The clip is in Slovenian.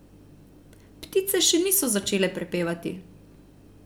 Ptice še niso začele prepevati.